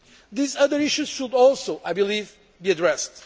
These other issues should also, I believe, be addressed.